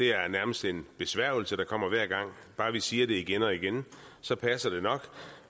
er nærmest en besværgelse der kommer hver gang bare vi siger det igen og igen så passer det nok